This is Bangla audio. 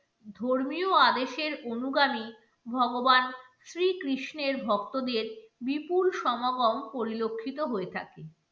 আদেশের অনুগামী ভগবান শ্রী কৃষ্ণের ভক্তদের বিপুল সমাগম পরিলক্ষিত হয়ে থাকে।